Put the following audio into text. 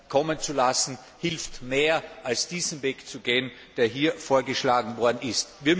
Hilfe kommen zu lassen, hilft mehr, als diesen Weg zu gehen, der hier vorgeschlagen worden